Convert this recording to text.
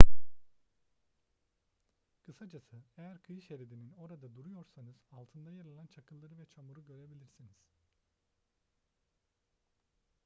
kısacası eğer kıyı şeridinin orada duruyorsanız altında yer alan çakılları ve çamuru görebilirsiniz